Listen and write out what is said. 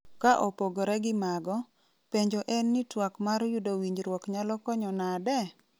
Kaopogre gi mago, penjo en ni tuak mar yudo winjruok nyalo konyo nade?